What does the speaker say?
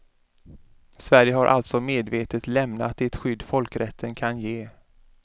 Sverige har alltså medvetet lämnat det skydd folkrätten kan ge.